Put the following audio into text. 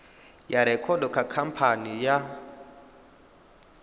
ya rekhodo kha khamphani ya